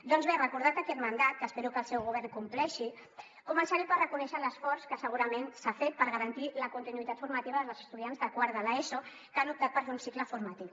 doncs bé recordat aquest mandat que espero que el seu govern compleixi començaré per reconèixer l’esforç que segurament s’ha fet per garantir la continuïtat formativa dels estudiants de quart de l’eso que han optat per fer un cicle formatiu